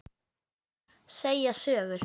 Segja sögur.